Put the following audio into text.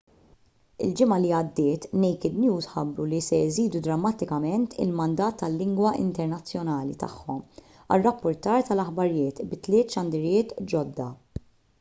il-ġimgħa li għaddiet naked news ħabbru li se jżidu drammatikament il-mandat tal-lingwa internazzjonali tagħhom għar-rappurtar tal-aħbarijiet bi tliet xandiriet ġodda